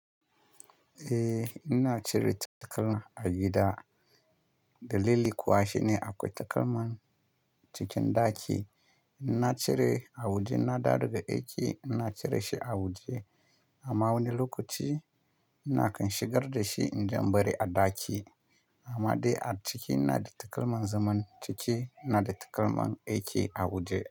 Eh, ina cire takalma a gida. Dalili kuwa shine akwai takalman cikin ɗaki. Ina cire a waje, in na dawo daga aiki ina cire shi a waje amma wani lokaci ina kan shigar da shi in je in bari a ɗaki. Amma dai a ciki ina da takalman zaman ciki, ina da takalman aiki a waje.